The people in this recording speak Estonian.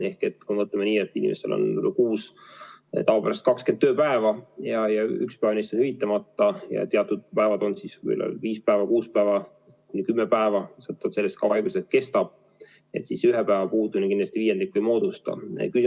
Kui me võtame nii, et inimestel on kuus tavapäraselt 20 tööpäeva ja kui üks päev jääb hüvitamata ja teatud päevad, on siis viis päeva, kuus päeva, kümme päeva, sõltuvalt sellest, kui kaua haigus kestab, hüvitatakse 70%, siis ühe päeva puudumine kindlasti viiendikku ei moodusta.